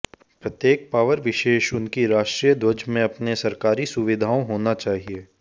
प्रत्येक पावर विशेष उनकी राष्ट्रीय ध्वज में अपने सरकारी सुविधाओं होना चाहिए